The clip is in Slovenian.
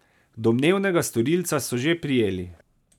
Domnevnega storilca so že prijeli.